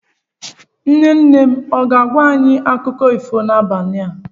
Nne nne ọ ga-agwa anyị akụkọ ifo n'abalị a?